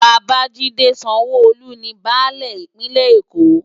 Babajide Sanwo-Olu ni bãlẹ Ipinlè-Ékó